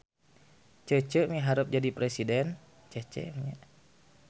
Cece miharep jadi presiden